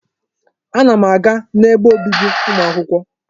Ana m aga n'ebe obibi ụmụ akwụkwọ.